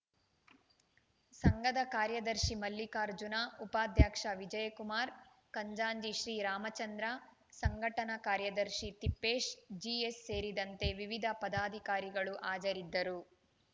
ಸಂಘದ ಕಾರ್ಯದರ್ಶಿ ಮಲ್ಲಿಕಾರ್ಜುನ ಉಪಾಧ್ಯಕ್ಷ ವಿಜಯಕುಮಾರ್‌ ಖಂಜಾಂಚಿ ಶ್ರೀ ರಾಮಚಂದ್ರ ಸಂಘಟನಾ ಕಾರ್ಯದರ್ಶಿ ತಿಪ್ಪೇಶ್‌ ಜಿಎಸ್‌ ಸೇರಿದಂತೆ ವಿವಿಧ ಪದಾಧಿಕಾರಿಗಳು ಹಾಜರಿದ್ದರು